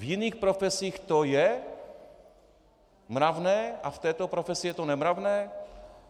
V jiných profesích to je mravné a v této profesi je to nemravné?